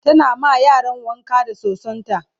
tana ma yaran wanka da sosonta